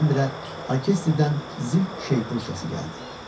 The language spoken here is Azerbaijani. Birdən-birə orkestrdən zil şaypul səsi gəldi.